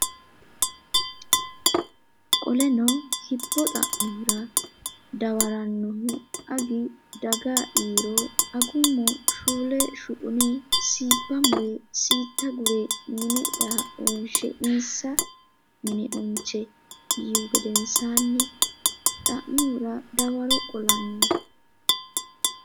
Qoleno hibbo xa mihura dawarannohu Agi daga yiiro Agummo shuushshe shuqune siibba mure siitta gure mine ya wonshe insa mine onche yiihu gedensaanni xa mihura dawaro qolanno.